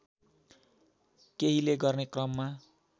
केहिले गर्ने क्रममा